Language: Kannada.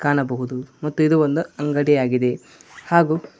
ಕಾಣಬಹುದು ಮತ್ತು ಇದು ಒಂದು ಅಂಗಡಿ ಆಗಿದೆ ಹಾಗು--